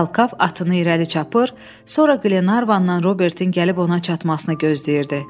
Talkav atını irəli çapır, sonra Glenarvandan Robertin gəlib ona çatmasını gözləyirdi.